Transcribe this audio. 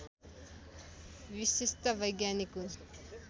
विशिष्ट वैज्ञानिक हुन्